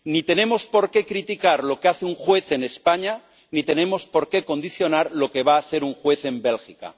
Ni tenemos por qué criticar lo que hace un juez en España, ni tenemos por qué condicionar lo que va a hacer un juez en Bélgica.